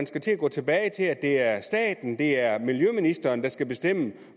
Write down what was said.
skal til at gå tilbage til at det er staten det er miljøministeren der skal bestemme